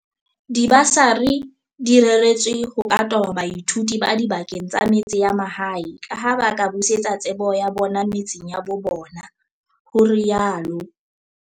"Dibasari di reretswe ka ho toba baithuti ba dibakeng tsa metse ya mahae kaha ba ka busetsa tsebo ya bona metseng ya bo bona," ho rialo